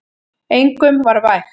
Engum var vægt.